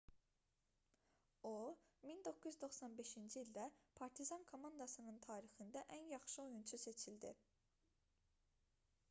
o 1995-ci ildə partizan komandasının tarixində ən yaxşı oyunçu seçildi